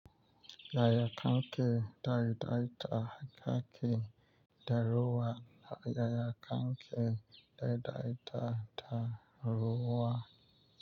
Yaya kanke daidaita haƙaƙin daruwa da yaya kanke daidaita daruwa?